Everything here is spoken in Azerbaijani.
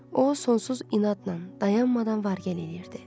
O sonsuz inadla dayanmadan var gəl eləyirdi.